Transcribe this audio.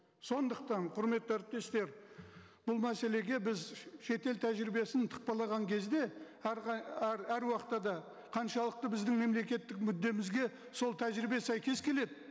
сондықтан құрметті әріптестер бұл мәселеге біз шетел тәжірибесін тықпалаған кезде әр уақытта да қаншалықты біздің мемлекеттік мүддемізге сол тәжірибе сәйкес келеді